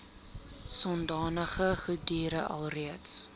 sodanige goedere alreeds